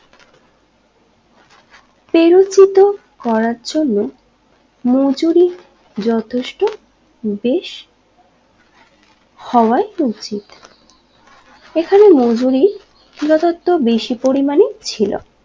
পেরোরসিত করার জন্য মজুরি যথেষ্ট বেশ হওয়ায় উচিত এখানে মজুরি যথার্থ বেশি পরিমানে ছিল